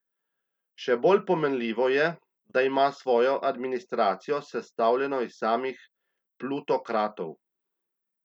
Še bolj pomenljivo je, da ima svojo administracijo sestavljeno iz samih plutokratov.